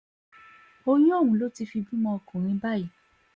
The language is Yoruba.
oyún ọ̀hún ló ti fi bímọ ọkùnrin báyìí